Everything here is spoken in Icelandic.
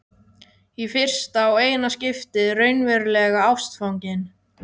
Í fyrsta og eina skiptið raunverulega ástfangin.